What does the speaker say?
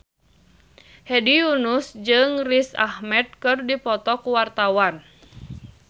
Hedi Yunus jeung Riz Ahmed keur dipoto ku wartawan